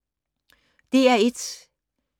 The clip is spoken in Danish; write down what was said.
DR1